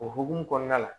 O hokumu kɔnɔna la